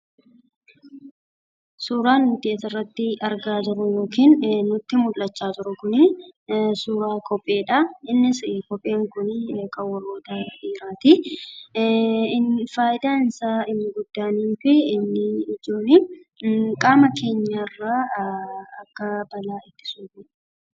Suuraan nuti asiratti argaa jirru kun suuraa kopheedha. Innis kopheen kun kan warroota dhiirotaati. Fayidaan isaa inni guddaa fi ijoon qaama keenyarraa akka balaa ittisudha.